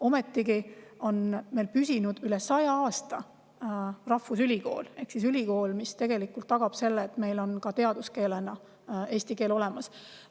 Ometigi on meil püsinud üle saja aasta rahvusülikool ehk ülikool, mis tagab selle, et meil on ka eesti teaduskeel olemas.